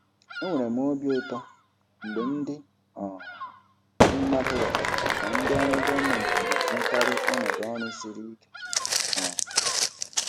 Enwere m obi ụtọ mgbe ndị um mmadụ ghọtara na ndị ọrụ gọọmentị na-enwekarị ọnọdụ ọrụ siri ike. um